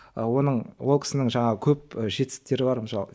оның ол кісінің жаңағы көп жетістіктері бар